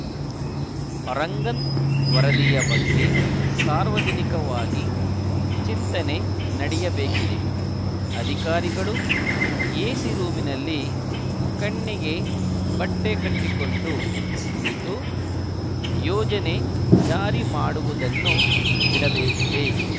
ರಂಗನ್‌ ವರದಿಯ ಬಗ್ಗೆ ಸಾರ್ವಜನಿಕವಾಗಿ ಚಿಂತನೆ ನಡೆಯಬೇಕಿದೆ ಅಧಿಕಾರಿಗಳು ಎಸಿ ರೂಮ್‌ನಲ್ಲಿ ಕಣ್ಣಿಗೆ ಬಟ್ಟೆಕಟ್ಟಿಕೊಂಡು ಕುಳಿತು ಯೋಜನೆ ಜಾರಿ ಮಾಡುವುದನ್ನು ಬಿಡಬೇಕಿದೆ